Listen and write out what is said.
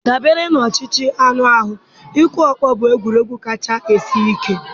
Dabere na ọchịchọ anụ ahụ, ịkụ ọkpọ bụ egwuregwu kacha sie ike.